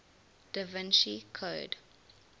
da vinci code